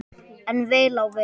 En vel á veg.